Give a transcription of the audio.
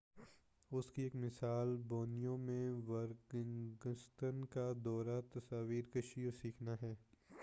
اس کی ایک مثال بورنیو میں ورگنگتانگس کا دورہ تصویر کشی اور سیکھنا ہے